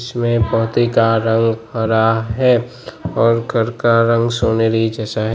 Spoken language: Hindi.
इसमें पहतिका का रंग हरा है और घर का रंग सोनेरी जैसा है।